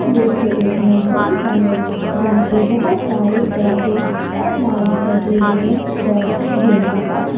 दृश्य एक नर्सरी का है यहां पे बहुत सारे पौधे और प्लांट्स लगे हुए हैं जैसे गेंदा का फूल।